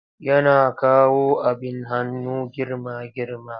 Yana kawo abin hannu girma-girma.